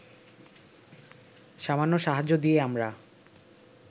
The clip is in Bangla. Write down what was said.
সামান্য সাহায্য দিয়ে আমরা